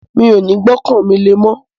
Mi ò ní gbọ́kàn mi lé mọ́